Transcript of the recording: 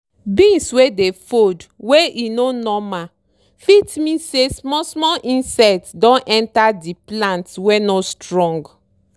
beans wey dey fold wey e no normal fit mean say small small insect don enter di plant wey no strong.